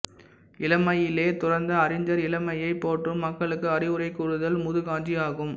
இளமையிலேயே துறந்த அறிஞர் இளமையைப் போற்றும் மக்களுக்கு அறிவுரை கூறுதல் முதுகாஞ்சி ஆகும்